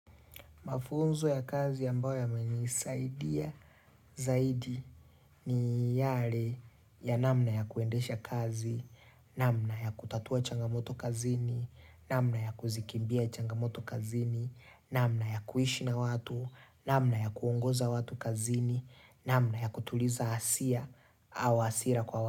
Mafunzo ya kazi ambayo yamenisaidia zaidi ni yale ya namna ya kuendesha kazi, namna ya kutatua changamoto kazini, namna ya kuzikimbia changamoto kazini, namna ya kuishi na watu, namna ya kuongoza watu kazini, namna ya kutuliza asia au asira kwa watu.